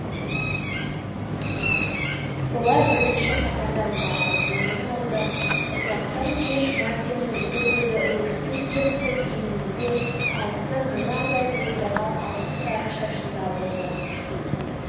олар бірінші қатардан барып орын алды ұзақты кеш мартиннің екі көзі руфьтің тіп-тік иінінде алыстан мұнардай бұлдыраған алтын-сары шашында болды